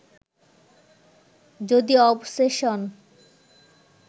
যদি অবসেশন